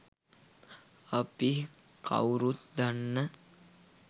අපි කව්රුත් දන්න